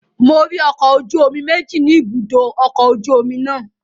Mo rí ọkọ̀ ojú omi méjì ni ibùdó ọkọ̀ ojú omi náà